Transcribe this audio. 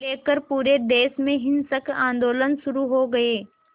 लेकर पूरे देश में हिंसक आंदोलन शुरू हो गए